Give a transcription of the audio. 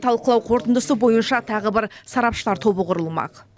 талқылау қорытындысы бойынша тағы бір сарапшылар тобы құрылмақ